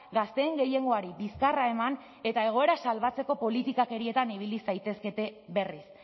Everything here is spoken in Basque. gazteen gehiengoari bizkarra eman eta egoera salbatzeko politikakeriatan ibili zaitezkete berriz